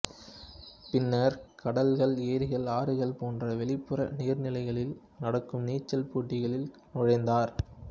பின்னர் கடல்கள் ஏரிகள் ஆறுகள் போன்ற வெளிப்புற நீர்நிலைகளில் நடக்கும் நீச்சல் போட்டிகளில் நுழைந்தார்